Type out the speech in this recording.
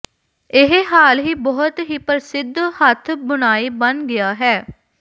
ਇਹ ਹਾਲ ਹੀ ਬਹੁਤ ਹੀ ਪ੍ਰਸਿੱਧ ਹੱਥ ਬੁਣਾਈ ਬਣ ਗਿਆ ਹੈ